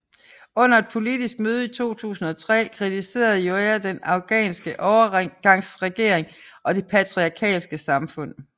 Under et politisk møde i 2003 kritiserede Joya den afghanske overgangsregering og det patriarkalske samfund